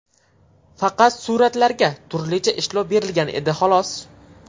Faqat suratlarga turlicha ishlov berilgan edi, xolos.